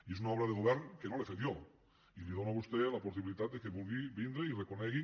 i és una obra de govern que no l’he fet jo i li dono a vostè la possibilitat que vulgui vindre i ho reconegui